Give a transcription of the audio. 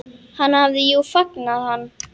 Hann hafði jú fangað hann.